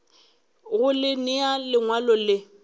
go le nea lengwalo le